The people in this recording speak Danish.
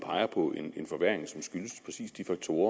peger på en forværring som skyldes præcis de faktorer